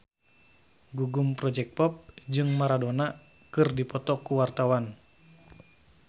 Gugum Project Pop jeung Maradona keur dipoto ku wartawan